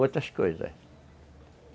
Outras coisas, é.